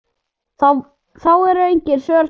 þá eru engin svör til.